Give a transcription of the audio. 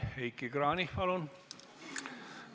Heiki Kranich, palun!